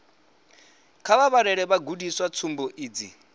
kha vha vhalele vhagudiswa tsumbo idzi